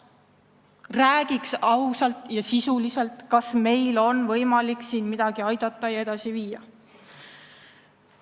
Räägiks ausalt ja sisuliselt, kas meil on võimalik siin aidata ja midagi edasi viia.